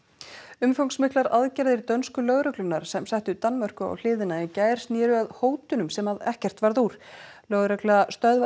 umfangsmiklar aðgerðir dönsku lögreglunnar sem settu Danmörku á hliðina í gær snéru að hótunum sem ekkert varð úr lögregla stöðvaði